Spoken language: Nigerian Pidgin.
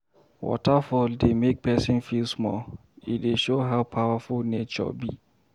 Waterfall dey make pesin feel small, e dey show how powerful nature be.